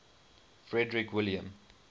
frederick william